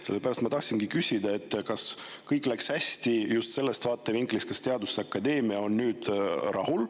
Sellepärast ma tahtsingi küsida, kas kõik läks hästi, just sellest vaatevinklist, et kas teaduste akadeemia on nüüd rahul.